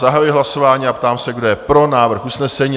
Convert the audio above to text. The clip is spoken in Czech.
Zahajuji hlasování a ptám se, kdo je pro návrh usnesení?